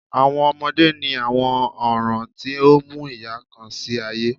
Awọn ọmọde ni awọn oran ti o mu iya kan si aye